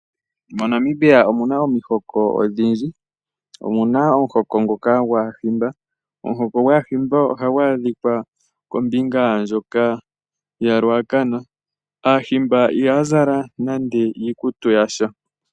MoNamibia omuna omihoko odhindji. Omuna omuhoko ngoka gwAahimba, omuhoko gwAahimba ohagu adhika kombinga ndjoka yo koRuacana. Aahimba ihaya zala nande iikutu yasha.